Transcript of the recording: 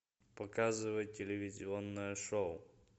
показывай телевизионное шоу